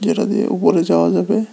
এটা দিয়ে উপরে যাওয়া যাবে।